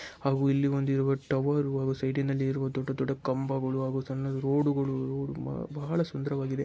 ಅವು ಇಲ್ಲಿ ಒಂದಿರುವ ಟವರ್ ಸೈಡಿ ನಲ್ಲಿ ಇರುವ ದೊಡ್ಡ ದೊಡ್ಡ ಕಂಬಗಳು ಅವು ಸಣ್ಣ ರೋಡ್ಗಳು ಬ-ಬಹಳ ಸುಂದರವಾಗಿದೆ.